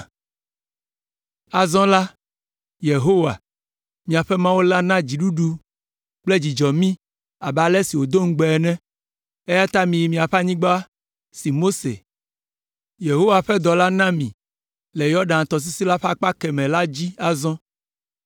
Azɔ la, Yehowa, miaƒe Mawu la na dziɖuɖu kple dzudzɔ mí abe ale si wòdo ŋugbe ene, eya ta miyi miaƒe anyigba si Mose, Yehowa ƒe dɔla na mi le Yɔdan tɔsisi la ƒe akpa kemɛ la dzi azɔ.